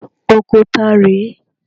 Oko ta rè é?